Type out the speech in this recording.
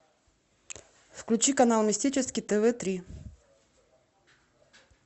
включи канал мистический тв три